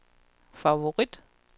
favorit